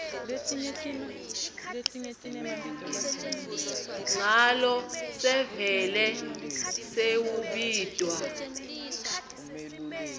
nyalo sevele sewubitwa